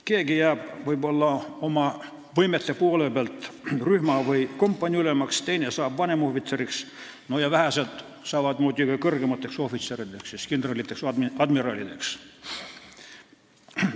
Keegi jääb võimete poolest rühma- või kompaniiülemaks, teine saab vanemohvitseriks ja vähesed saavad kõrgemateks ohvitserideks, kindraliteks või admiralideks.